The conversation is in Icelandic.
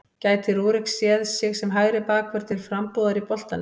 Gæti Rúrik séð sig sem hægri bakvörð til frambúðar í boltanum?